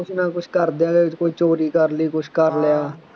ਕੁੱਛ ਨਾ ਕਰਦਿਆਂ ਦੇ ਕੋਈ ਚੋਰੀ ਕਰ ਲਈ ਕੁੱਛ ਕਰ ਲਿਆ